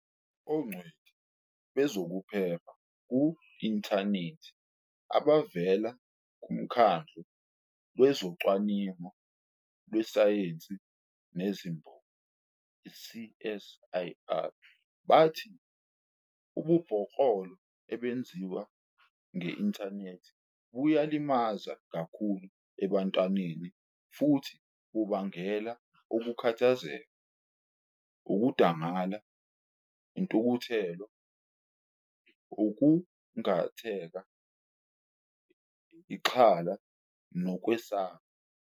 Ongcweti bezokuphepha ku-inthanethi abavela kuMkhandlu Wezocwaningo Lwezesayensi Nezimboni, i-CSIR, bathi ububhoklolo obenziwa nge-inthanethi buyalimaza kakhulu ebantwaneni futhi bungabangela ukukhathazeka, ukudangala, intukuthelo, ukukhungatheka, ixhala nokwesaba.